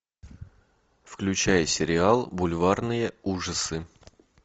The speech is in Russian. включай сериал бульварные ужасы